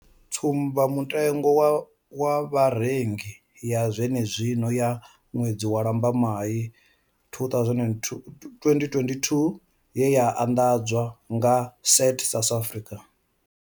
Tsumbamutengo wa Vharengi ya zwenezwino ya ṅwedzi wa Lambamai 2022 ye ya anḓadzwa nga Stats SA.